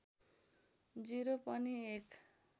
० पनि एक